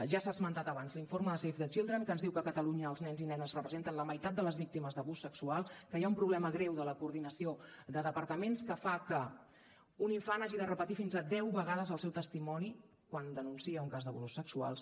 ja s’ha esmentat abans l’informe de save the children que ens diu que a catalunya els nens i nenes representen la meitat de les víctimes d’abús sexual que hi ha un problema greu de la coordinació de departaments que fa que un infant hagi de repetir fins a deu vegades el seu testimoni quan denuncia un cas d’abusos sexuals